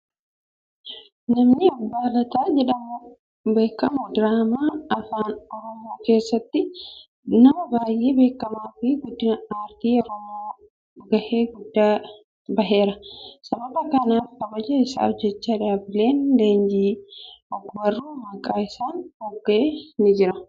Namni Abbaa lataa jedhamuun beekamu diraamaa afaan oromoo keessatti nama baay'ee beekamaa fi guddina aartii afaan oromoof gahee guddaa baheera. Sababa kanaaf kabaja isaaf jecha dhaabbileen leenjii ogbarruu maqaa isaan mogga'e ni jira.